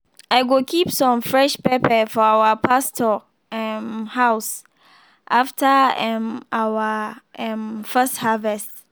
i go keep some fresh pepper for our pastor um house after um our um first harvest.